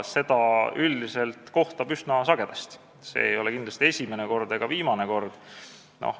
Seda kohtab üldiselt üsna sagedasti, see ei ole kindlasti esimene ega viimane kord.